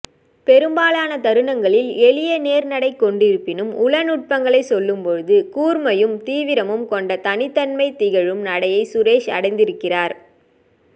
பெரும்பாலான தருணங்களில் எளியநேர் நடை கொண்டிருப்பினும் உளநுட்பங்களைச் சொல்லும்போது கூர்மையும் தீவிரமும் கொண்ட தனித்தன்மை திகழும் நடையை சுரேஷ் அடைந்திருக்கிறார்